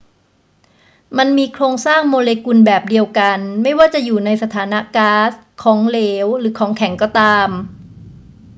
มันมีโครงสร้างโมเลกุลแบบเดียวกัน ไม่ว่าจะอยู่ในสถานะก๊าซ ของเหลว หรือของแข็งก็ตาม